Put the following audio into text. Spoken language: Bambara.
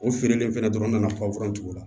O feerelen fɛnɛ dɔrɔn na foronto la